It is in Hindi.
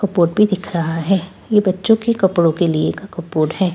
कपबोर्ड भी दिख रहा है ये बच्चों के कपड़ों के लिए का कपबोर्ड है।